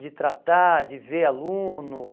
de tratar, de ver aluno.